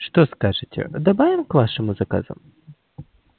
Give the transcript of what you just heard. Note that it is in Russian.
что скажете добавим к вашему заказу